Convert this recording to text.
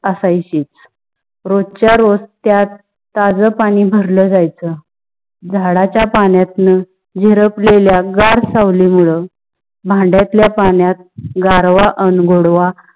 अश्याची. रोज च्या रोज़ त्यात ताज पानी भरल जयच. चंदाच्या पानातून झहीरपलेल्या गर सावली मुले भांड्यातल्या पाण्यात गारवा गोडवा आसायची.